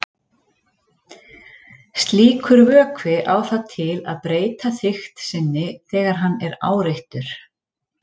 slíkur vökvi á það til að breyta þykkt sinni þegar hann er áreittur